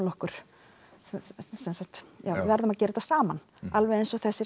okkur við verðum að gera það saman eins og þessir